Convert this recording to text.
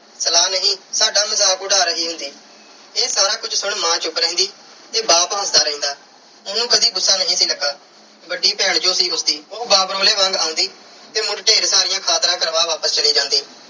ਸਲਾਹ ਨਹੀਂ ਸਾਡਾ ਮਜ਼ਾਕ ਉਡਾ ਰਹੀ ਹੁੰਦੀ। ਇਹ ਸਾਰਾ ਕੁਝ ਸੁਣ ਮਾਂ ਚੁੱਪ ਰਹਿੰਦੀ ਤੇ ਬਾਪ ਹੱਸਦਾ ਰਹਿੰਦਾ। ਉਹਨੂੰ ਕਦੇ ਗੁੱਸਾ ਨਹੀਂ ਸੀ ਲੱਗਾ। ਵੱਡੀ ਭੈਣ ਜੋ ਸੀ ਉਸਦੀ। ਉਹ ਬਾਬਰੋਲੇ ਵਾਂਗ ਆਉਂਦੀ ਤੇ ਮੁੜ ਢੇਰ ਸਾਰੀਆਂ ਖਾਤਰਾਂ ਕਰਵਾ ਵਾਪਸ ਚਲੀ ਜਾਂਦੀ।